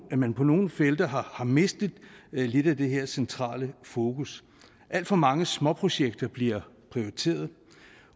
man på nogle felter har har mistet lidt af det her centrale fokus alt for mange små projekter bliver prioriteret